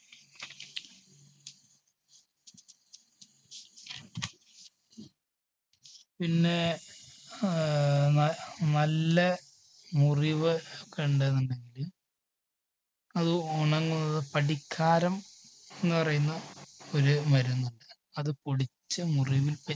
പിന്നെ ആഹ് ന നല്ല മുറിവ് ഒക്കെ ഉണ്ടെന്നുണ്ടെങ്കില് അത് ഉണങ്ങ പഠിക്കാരം എന്ന് പറയുന്ന ഒരു മരുന്നുണ്ട് അത് പൊടിച്ച് മുറിവിൽ തേ~